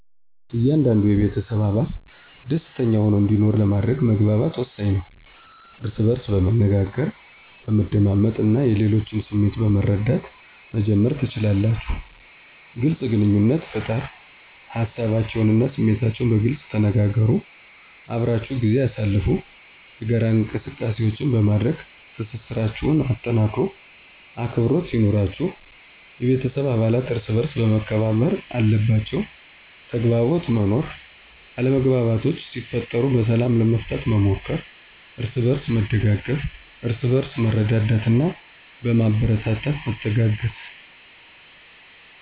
እያንዳንዱ የቤተሰብ አባል ደሰተኛ ሆኖ እንዲኖር ለማድረግ መግባባት ወሳኝ ነው። እርስ በእርስ በመነጋገር፣ በመደማመጥ እና የሌሎችን ስሜት በመረዳት መጀመር ትችላላችሁ። __ግልፅ ግንኙነት ፍጠር ሀሳባቸውን እና ስሜታችሁን በግልፅ ተነጋገሩ። _አብራችሁ ጊዜ አሳልፉ የጋራ እንቅሰቃሴዎች በማድረግ ትስስራቸሁን አጠናክሩ። _አክብሮት ይኑራችሁ የቤተሰብ አባለት እርሰበአርስ መከባበር አለባቸዉ። _ተግባቦት መኖር አለመግባባቶች ሲፈጠሩ በሰላም ለመፍታት መሞከር። አርስበእርስ መደጋገፍ እርስበእርስ በመረዳዳትና በማበረታታት መተጋገዝ።